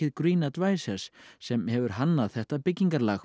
yfirtækið GreenAdvicers sem hefur hannað þetta byggingarlag